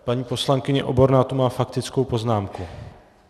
Paní poslankyně Oborná tu má faktickou poznámku.